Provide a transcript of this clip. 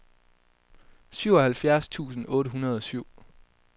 syvoghalvfjerds tusind otte hundrede og syv